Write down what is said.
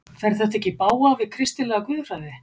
Fer þetta ekki í bága við kristilega guðfræði?